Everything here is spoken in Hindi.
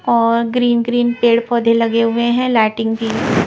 और ग्रीन ग्रीन पेड़ पौधे लगे हुए हैं लाइटिंग भी--